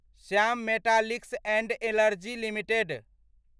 Shyam metallics and energy limited